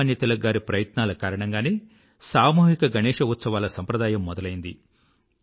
లోకమాన్య తిలక్ గారి ప్రయత్నాల కారణంగానే సామూహిక గణేశ ఉత్సవాల సంప్రదాయం మొదలైంది